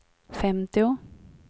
femtio